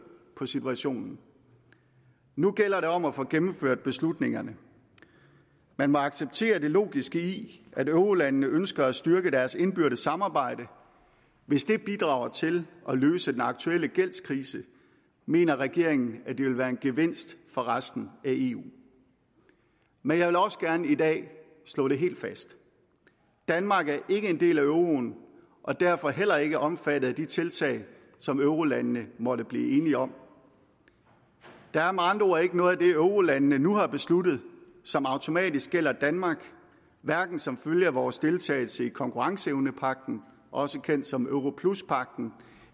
på situationen nu gælder det om at få gennemført beslutningerne man må acceptere det logiske i at eurolandene ønsker at styrke deres indbyrdes samarbejde hvis det bidrager til at løse den aktuelle gældskrise mener regeringen at det vil være en gevinst for resten af eu men jeg vil også gerne i dag slå det helt fast danmark er ikke en del af euroen og derfor heller ikke omfattet af de tiltag som eurolandene måtte blive enige om der er med andre ord ikke noget af det eurolandene nu har besluttet som automatisk gælder danmark hverken som følge af vores deltagelse i konkurrenceevnepagten også kendt som europluspagten